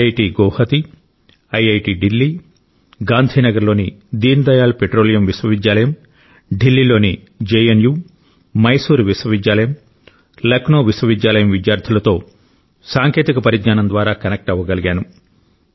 ఐఐటిగువహతి IIT Delhi Gandhinagar లోని Deendayal petroleum విశ్వవిద్యాలయం ఢిల్లీ లోని జెఎన్యు మైసూర్ విశ్వవిద్యాలయం లక్నో విశ్వవిద్యాలయం విద్యార్థులతో సాంకేతిక పరిజ్ఞానం ద్వారా కనెక్ట్ అవ్వగలిగాను